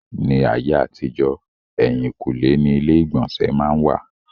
Ní ayé àtijọ́, èhìnkúnlé ni ilé ìgbọ̀nsẹ̀ má n wà.